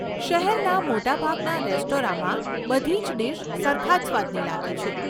શહેરના મોટાભાગના રેસ્ટોરન્ટમાં બધી જ ડીશ સરખા જ સ્વાદની લાગે છે.